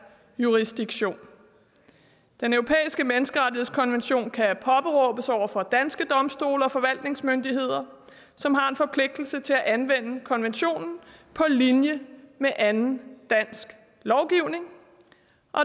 jurisdiktion den europæiske menneskerettighedskonvention kan påberåbes over for danske domstole og forvaltningsmyndigheder som har en forpligtelse til anvende konventionen på linje med anden dansk lovgivning